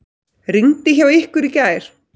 Rigndi hjá ykkur í gær?